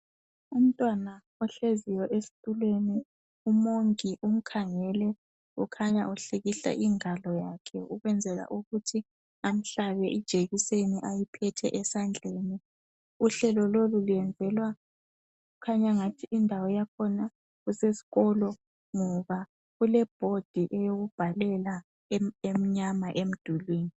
Umntwana ohleziyo esitulweni umongi umkhangele ukhanya uhlikihla ingwalo yakhe ukwenzela ukuthi amhlabe ijekiseni ayiphethe esandleni uhlelo lolu luyenzelwa okukhanya angathi indawo yakhona kusesikolo ngoba kule board yokubhalela emnyama emdulwini